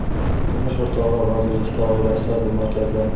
Turmush o‘rtog‘i vazirlikda, oilasi bu markazda.